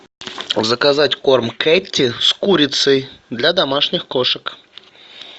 заказать корм кэтти с курицей для домашних кошек